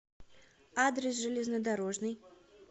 адрес железнодорожный